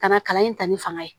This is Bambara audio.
Ka na kalan in ta ni fanga ye